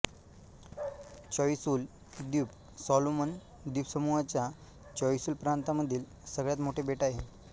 Choiseul द्वीप Solomon द्वीपसमूहाच्या Choiseul प्रांतामधील सगळ्यात मोठे बेट आहे